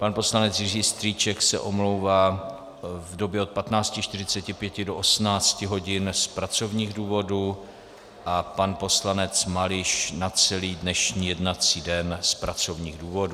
Pan poslanec Jiří Strýček se omlouvá v době od 15.45 do 18 hodin z pracovních důvodů a pan poslanec Mališ na celý dnešní jednací den z pracovních důvodů.